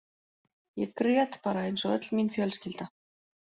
Ég grét bara eins og öll mín fjölskylda.